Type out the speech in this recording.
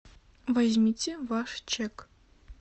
возьмите ваш чек